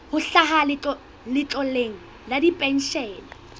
ho hlaha letloleng la dipenshene